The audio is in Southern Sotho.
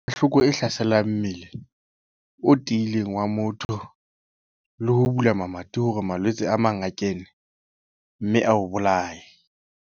Hloko e hlasela mmele o tiileng wa motho le ho bula mamati hore malwetse a mang a kene, mme a o bolaye.